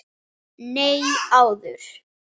Nei, áður.